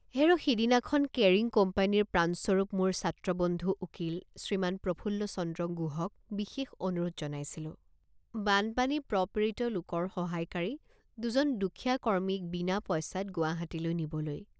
হেৰ সিদিনাখন কেৰিং কোম্পানীৰ প্ৰাণস্বৰূপ মোৰ ছাত্ৰবন্ধু উকীল শ্ৰীমান প্ৰফুল্লচন্দ্ৰ গুহক বিশেষ অনুৰোধ জনাইছিলোঁ বানপানী প্ৰপীড়িত লোকৰ সহায়কাৰী দুজনদুখীয়া কৰ্মীক বিনা পইচাত গুৱাহাটীলৈ নিবলৈ।